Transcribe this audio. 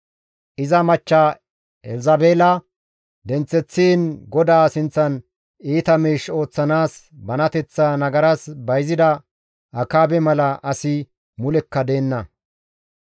Iza machcha Elzabeela denththeththiin GODAA sinththan iita miish ooththanaas banateththaa nagaras bayzida Akaabe mala asi mulekka deenna.